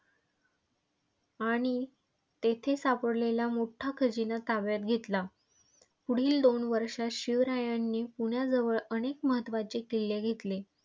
आणि तेथे सापडलेला मोठा खजिना ताब्यात घेतला. पुढील दोन वर्षात शिवरायांनी पुण्याजवळ अनेक महत्त्वाचे किल्ले घेतले.